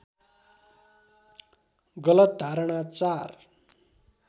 गलत धारणा ४